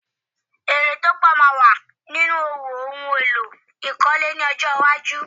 Èrè tó pọ̀ yóò wà nínú òwò ohun èlò ìkọ́le ní ọjọ́ iwájú.